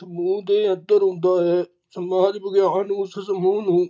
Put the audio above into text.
ਸਮੂਹ ਦੇ ਅੰਦਰ ਹੁੰਦਾ ਹੈ ਸਮਾਜ ਵਿਗਿਆਨ ਉਸ ਸਮੂਹ ਨੂੰ